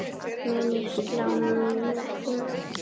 Mun ég slá metið mitt?